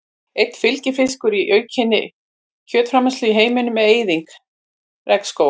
Einn fylgifiskur aukinnar kjötframleiðslu í heiminum er eyðing regnskóga.